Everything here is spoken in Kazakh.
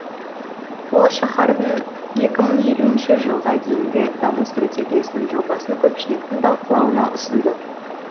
ол шаһардың екі мың елуінші жылға дейінгі даму стратегиясының жобасын көпшіліктің талқылауына ұсынды